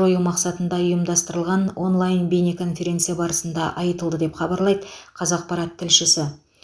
жою мақсатында ұйымдастырылған онлайн бейнеконференция барысында айтылды деп хабарлайды қазақпарат тілшісі